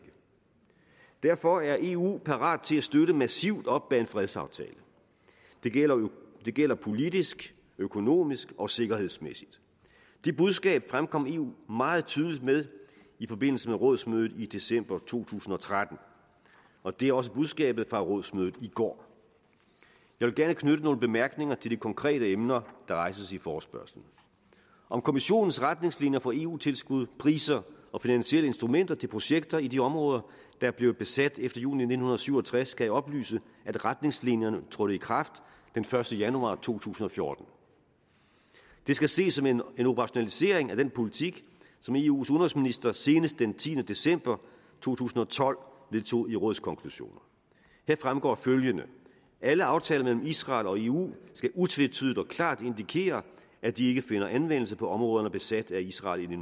derfor er eu parat til at støtte massivt op bag en fredsaftale det gælder det gælder politisk økonomisk og sikkerhedsmæssigt det budskab fremkom eu meget tydeligt med i forbindelse med rådsmødet i december to tusind og tretten og det er også budskabet fra rådsmødet i går jeg vil gerne knytte nogle bemærkninger til de konkrete emner der rejses i forespørgslen om kommissionens retningslinjer for eu tilskud priser og finansielle instrumenter til projekter i de områder der er blevet besat efter juni nitten syv og tres skal jeg oplyse at retningslinjerne trådte i kraft den første januar to tusind og fjorten det skal ses som en operationalisering af den politik som eus udenrigsminister senest den tiende december to tusind og tolv vedtog i rådskonklusionen her fremgår følgende alle aftaler mellem israel og eu skal utvetydigt og klart indikere at de ikke finder anvendelse på områderne besat af israel i